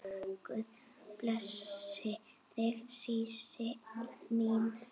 Guð blessi þig Sísí mín.